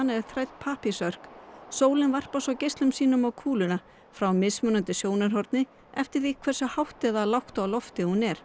er þrædd pappírsörk sólin varpar svo geislum sínum á kúluna frá mismuandi horni eftir því hversu hátt eða lágt á lofti hún er